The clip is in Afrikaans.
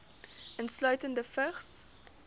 insluitende vigs